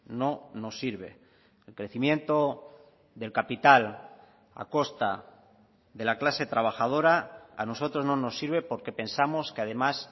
no nos sirve el crecimiento del capital a costa de la clase trabajadora a nosotros no nos sirve porque pensamos que además